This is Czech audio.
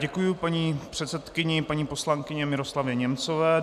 Děkuji paní předsedkyni, paní poslankyni Miroslavě Němcové.